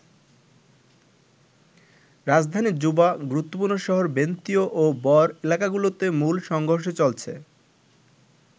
রাজধানী জুবা, গুরুত্বপূর্ণ শহর বেনতিউ ও বর এলাকাগুলোতে মূল সংঘর্ষ চলছে।